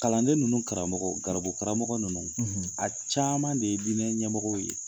Kalanden ninnu karamɔgɔ garibu karamɔgɔ ninnu a caman de ye diinɛ ɲɛmɔgɔ ye.